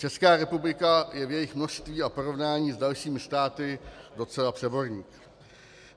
Česká republika je v jejich množství v porovnání s dalšími státy docela přeborník.